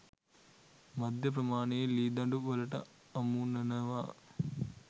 මධ්‍ය ප්‍රමාණයේ ලී දඬු වලට අමුණනවා.